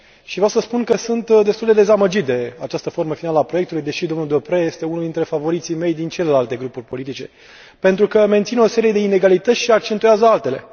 Vreau să spun că sunt destul de dezamăgit de această formă finală a proiectului, deși domnul Deprez este unul dintre favoriții mei din celelalte grupuri politice, pentru că menține o serie de inegalități și accentuează altele.